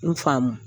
N faamu